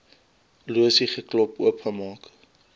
losie geklop oopgemaak